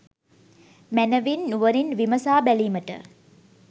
මැනවින් නුවණින් විමසා බැලීමට